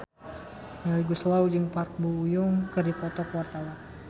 Melly Goeslaw jeung Park Bo Yung keur dipoto ku wartawan